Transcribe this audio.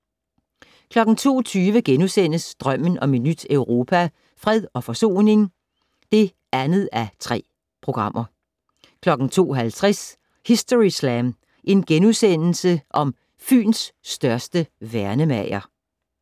02:20: Drømmen om et nyt Europa - Fred og forsoning (2:3)* 02:50: Historyslam - Fyns største værnemager *